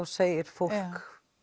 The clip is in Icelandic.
segir fólk